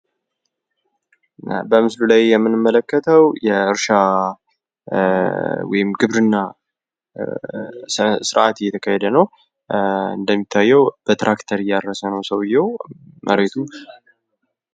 በምስሉ ላይ የምንመለከተው የእርሻ ወይም ግብርና ስርአት እየተካሄደ ነው። እንደሚታየው በትራክተር እያረሰ ነው ሰውየው መሬቱን::